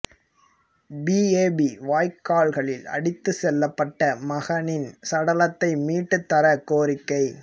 PAP வாய்க்காலில் அடித்துச் செல்லப்பட்ட மகனின் சடலத்தை மீட்டுத் தரக் கோரிக்கை